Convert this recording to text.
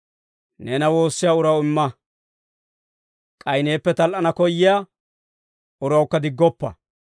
Neena woossiyaa uraw imma; k'ay neeppe tal"ana koyyiyaa urawukka diggoppa.›